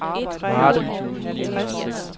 Varde